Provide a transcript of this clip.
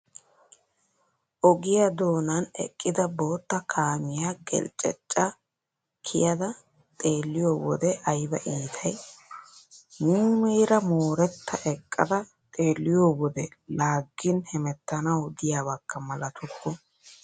Ogiyaa doonan eqida boottaa kaamiyaa gelcceccaa kiyada xeelliyoo wode ayiba iitayi. Muumeera mooretta eqqada xeelliyoo wode laaggin hemettanawu diyaabakka malatukku.